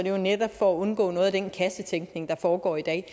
jo netop for at undgå noget af den kassetænkning der foregår i dag